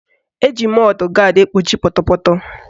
Eji mọdụ gaadị egbochi pọtọpọtọ